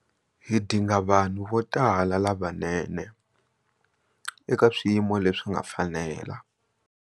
Hi dinga vanhu vo tala lavanene eka swiyimo leswi nga fanela.